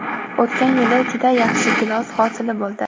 O‘tgan yili juda yaxshi gilos hosili bo‘ldi.